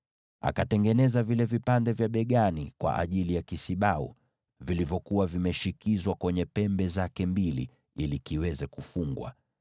Akatengeneza vipande vya mabegani vya kisibau, vilivyoshikizwa kwenye pembe zake mbili ili kukifungia kisibau.